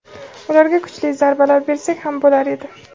ularga kuchli zarbalar bersak ham bo‘lar edi.